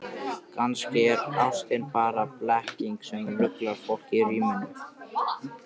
Kannski er ástin bara blekking sem ruglar fólk í ríminu.